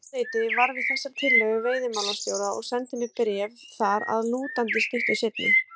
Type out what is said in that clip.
Ráðuneytið varð við þessari tillögu veiðimálastjóra og sendi mér bréf þar að lútandi stuttu seinna.